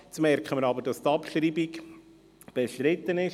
Jetzt merken wir aber, dass die Abschreibung bestritten ist.